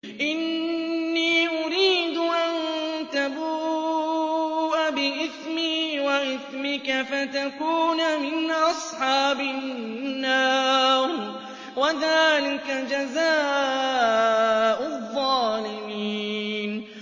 إِنِّي أُرِيدُ أَن تَبُوءَ بِإِثْمِي وَإِثْمِكَ فَتَكُونَ مِنْ أَصْحَابِ النَّارِ ۚ وَذَٰلِكَ جَزَاءُ الظَّالِمِينَ